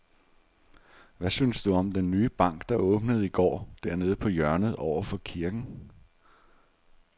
Hvad synes du om den nye bank, der åbnede i går dernede på hjørnet over for kirken?